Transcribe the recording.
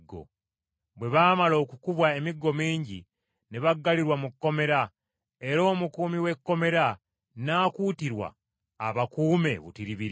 Bwe baamala okukubwa emiggo mingi, ne baggalirwa mu kkomera, era omukuumi w’ekkomera n’akuutirwa abakuume butiribiri.